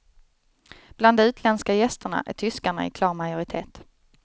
Bland de utländska gästerna är tyskarna i klar majoritet.